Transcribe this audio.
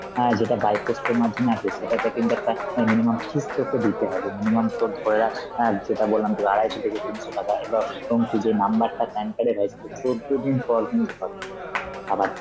আ যেটা by post এর মাধ্যমে আসে সেটাতে কিন্তু একটা অ্যাঁ minimum fees তোকে দিতে হবে, minimum তোর ধরে রাখ অ্যাঁ যেটা বললাম তোকে আড়াইশো থেকে তিনশো টাকা, এবার তখন তুই যে number টা PAN card এর হয় শুধু চৌদ্দ পর কিন্তু পাবি. আবার